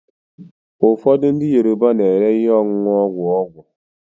ụfọdụ ndị Yoruba na-ere ihe ọṅụṅụ ogwu ọgwụ